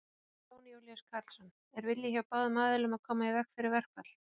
Jón Júlíus Karlsson: Er vilji hjá báðum aðilum að koma í veg fyrir verkfall?